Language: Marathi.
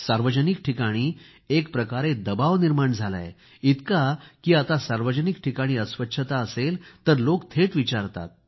सार्वजनिक ठिकाणी एकप्रकारे दबाव निर्माण झाला आहे इतका की आता सार्वजनिक ठिकाणी अस्वच्छता असेल तर लोक थेट विचारतात